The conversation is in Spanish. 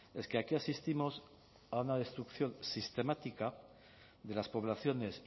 es que aquí asistimos a una destrucción sistemática de las poblaciones